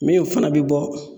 Min fana bi bɔ